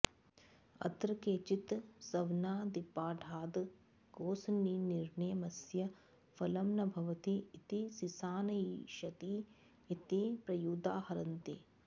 अत्र केचित् सवनादिपाठाद् गोसनिर्नियमस्य फलं न भवति इति सिसानयिषति इति प्रयुदाहरन्ति